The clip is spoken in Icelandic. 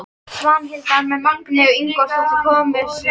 Svanhildar með Magneu Ingólfsdóttur konu sinni.